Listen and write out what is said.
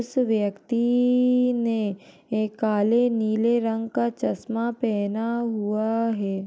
उस व्यक्ति इइइ ने एक काले नीले रंग का चश्मा पहना हुआ आ है।